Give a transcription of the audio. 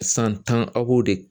San tan aw b'o de